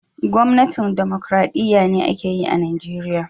Gwamnatin dimokuradiyya be ake yi a'Nijeriya.